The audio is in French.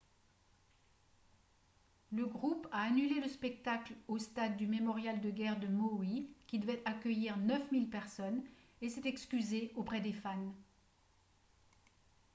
le groupe a annulé le spectacle au stade du mémorial de guerre de maui qui devait accueillir 9 000 personnes et s’est excusé auprès des fans